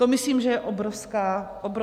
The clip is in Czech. To myslím, že je obrovská chyba.